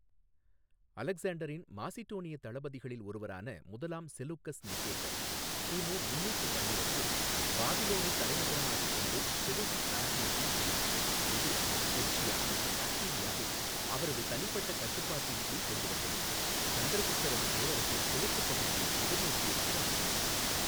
அலெக்சாண்டரின் மாசிடோனிய தளபதிகளில் ஒருவரான முதலாம் செலூக்கஸ் நிகேட்டர், கிமு முந்நூற்று பன்னிரெண்டில் பாபிலோனைத் தலைநகரமாகக் கொண்டு செலூசிட் இராஜ்ஜியத்தை நிறுவினார், இது பெர்ஷியா மற்றும் பாக்ட்ரியாவை அவரது தனிப்பட்ட கட்டுப்பாட்டின் கீழ் கொண்டு வந்தது, சந்திரகுப்தரது பேரரசின் கிழக்குப் பகுதியை எதிர்நோக்கியவாறு அமைந்தது.